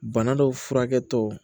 Bana dɔ furakɛ tɔ